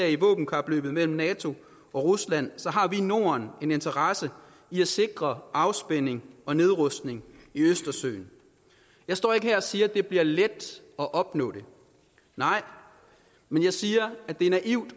i våbenkapløbet mellem nato og rusland har vi i norden en interesse i at sikre afspænding og nedrustning i østersøen jeg står ikke her og siger at det bliver let at opnå det nej men jeg siger at det er naivt